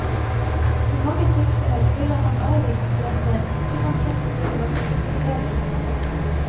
I mange tilfeller ville han avvist klienter hvis han kjente til hva slags problemer de hadde.